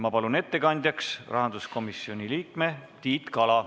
Ma palun ettekandjaks rahanduskomisjoni liikme Tiit Kala.